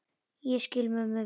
Ég skil mömmu vel.